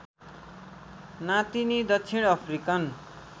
नातिनी दक्षिण अफ्रिकन